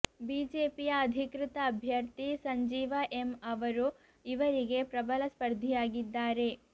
ಬಿಜೆಪಿಯ ಅಧಿಕೃತ ಅಭ್ಯರ್ಥಿ ಸಂಜೀವ ಎಂ ಅವರು ಇವರಿಗೆ ಪ್ರಬಲ ಸ್ಪರ್ಧಿಯಾಗಿದ್ದಾರೆ